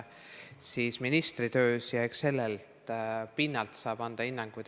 Eks sellel pinnal saab siis anda hinnanguid.